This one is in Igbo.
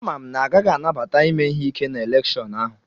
Amam na a gaghị anabata ime ihe ike na elèkshón ahu